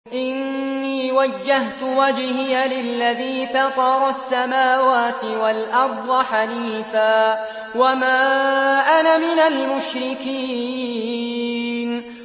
إِنِّي وَجَّهْتُ وَجْهِيَ لِلَّذِي فَطَرَ السَّمَاوَاتِ وَالْأَرْضَ حَنِيفًا ۖ وَمَا أَنَا مِنَ الْمُشْرِكِينَ